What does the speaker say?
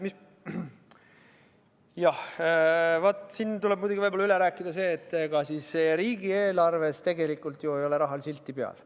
Jah, vaat, siin tuleb nüüd võib-olla üle rääkida see, et ega siis riigieelarves ei ole rahal silti peal.